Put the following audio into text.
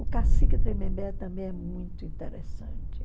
O cacique Tremembé também é muito interessante.